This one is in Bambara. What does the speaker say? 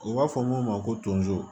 U b'a fɔ mun ma ko tonso